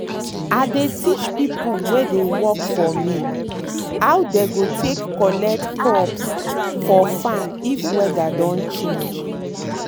i dey teach people wey dey work for mehow dey go take collect crops for farm if weather don change.